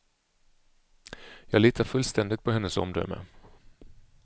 Jag litar fullständigt på hennes omdöme.